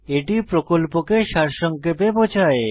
এটি প্রকল্পকে সারসংক্ষেপে বোঝায়